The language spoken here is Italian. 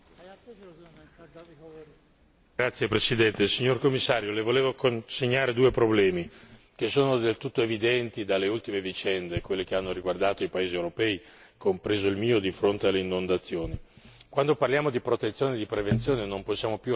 Signora Presidente, onorevoli colleghi, signor Commissario, Le volevo illustrare due problemi che sono emersi in modo del tutto evidente dalle ultime vicende, quelle che hanno riguardato i paesi europei, compreso il mio, di fronte alle inondazioni. Quando parliamo di protezione e di prevenzione non possiamo più ragionare con i parametri di un tempo.